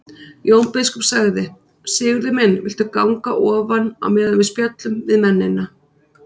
Jón biskup sagði:-Sigurður minn viltu ganga ofan á meðan við spjöllum við mennina.